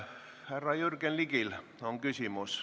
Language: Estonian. Härra Jürgen Ligil on küsimus.